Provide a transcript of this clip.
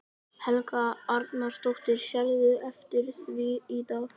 Helga Arnardóttir: Sérðu eftir því í dag?